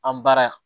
An baara